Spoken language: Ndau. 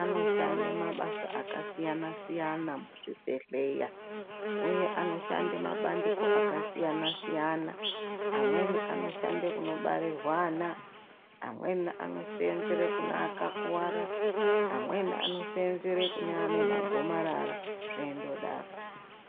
anoshande mabasa akasiyanasiyana m7zvibhedheya uye anoshande mabandiko akasiyanasiyana. Amweni anoshandire kunobarirwe ana, amweni anosenzere kune akakuwara, amweni anosenzere kune ane magomarara zveindodaro.